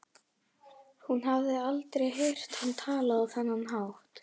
Hún hafði aldrei heyrt hann tala á þennan hátt.